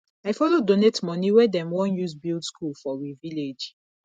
i follow donate moni wey dem wan use build skool for we village